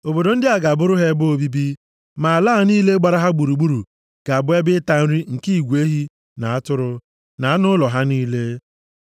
Obodo ndị a ga-abụrụ ha ebe obibi, ma ala niile gbara ha gburugburu ga-abụ ebe ịta nri nke igwe ehi na atụrụ, na anụ ụlọ ha niile.